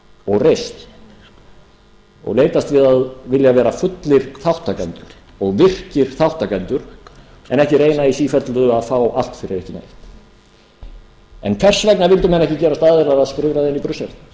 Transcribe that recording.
og reisn og leitast við að vilja vera fullir þátttakendur og virkir þátttakendur en ekki reyna í sífellu að fá allt fyrir ekki neitt hvers vegna vildu menn ekki gerast aðilar að skrifræðinu í brussel